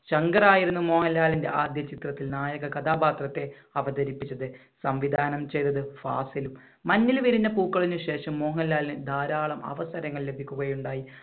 ശങ്കർ ആയിരുന്നു മോഹൻലാലിന്‍റെ ആദ്യ ചിത്രത്തിൽ നായക കഥാപാത്രത്തെ അവതരിപ്പിച്ചത്, സംവിധാനം ചെയ്തത് ഫാസിലും. മഞ്ഞിൽ വിരിഞ്ഞ പൂക്കളിന് ശേഷം മോഹൻലാലിന് ധാരാളം അവസരങ്ങൾ ലഭിക്കുകയുണ്ടായി.